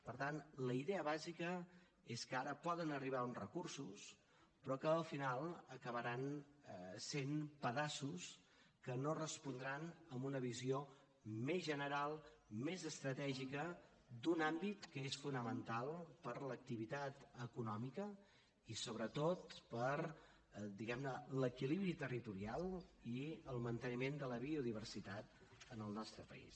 per tant la idea bàsica és que ara poden arribar uns recursos però que al final acabaran sent pedaços que no respondran a una visió més general més estratègica d’un àmbit que és fonamental per a l’activitat econòmica i sobretot per diguem ne l’equilibri territorial i el manteniment de la biodiversitat en el nostre país